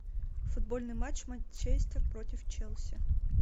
футбольный матч манчестер против челси